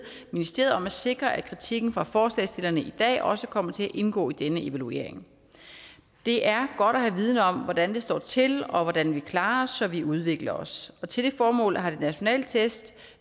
ministeriet om at sikre at kritikken fra forslagsstillerne i dag også kommer til at indgå i denne evaluering det er godt at have viden om hvordan det står til og hvordan vi klarer os så vi udvikler os til det formål har de nationale test